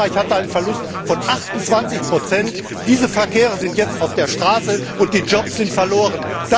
Frankreich hatte einen Verlust von 28 sind diese Verkehre jetzt auf der Straße, und die Jobs sind verloren.